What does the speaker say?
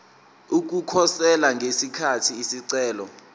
ukukhosela ngesikhathi isicelo